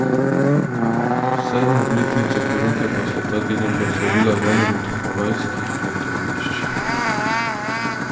Sedmo obletnico poroke pa sta ta teden proslavila v enem od havajskih letovišč.